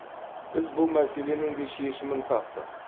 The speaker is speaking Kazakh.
біз бұл мәселенің де шешімін таптық